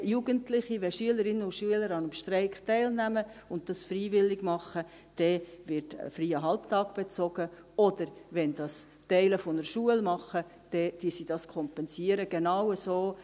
Wenn Jugendliche, wenn Schülerinnen und Schüler an einem Streik teilnehmen und dies freiwillig tun, wird ein freier Halbtag bezogen, oder wenn es Teile einer Schule tun, kompensieren sie dies.